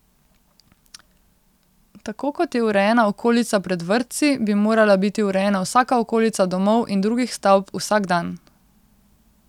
Tako kot je urejena okolica pred vrtci, bi morala biti urejena vsaka okolica domov in drugih stavb vsak dan.